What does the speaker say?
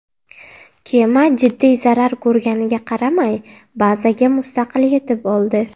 Kema jiddiy zarar ko‘rganiga qaramay, bazaga mustaqil yetib oldi.